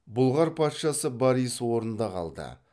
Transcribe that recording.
бұлғар патшасы борис орнында қалды